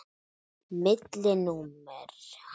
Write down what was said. Milli númera.